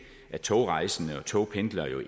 at togrejsende og togpendlere